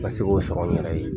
Nka se k'o sɔrɔ yɛrɛ ye